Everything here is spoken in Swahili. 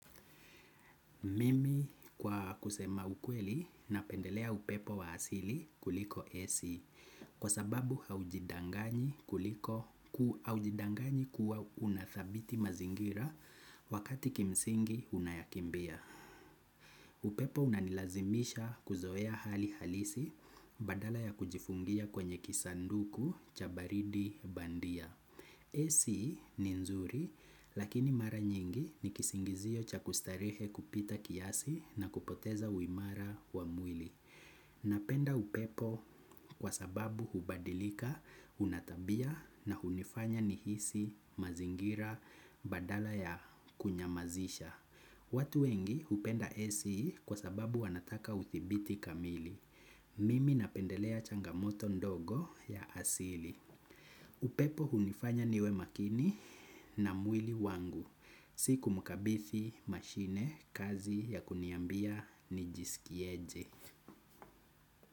Mimi kwa kusema ukweli napendelea upepo wa asili kuliko AC. Kwa sababu haujidangani kuliko ku aujidangani kuwa unathabiti mazingira wakati kimsingi unayakimbia. Upepo unanilazimisha kuzoea hali halisi badala ya kujifungia kwenye kisanduku cha baridi bandia AC ni nzuri, lakini mara nyingi ni kisingizio cha kustarehe kupita kiasi na kupoteza uimara wa mwili. Napenda upepo kwa sababu hubadilika, una tabia na hunifanya nihisi, mazingira, badala ya kunyamazisha. Watu wengi hupenda AC kwa sababu wanataka uthibiti kamili. Mimi napendelea changamoto ndogo ya asili. Upepo hunifanya niwe makini na mwili wangu. Si kumkabithi mashine kazi ya kuniambia nijisikieje.